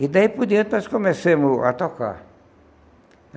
E daí por diante nós começamos a tocar.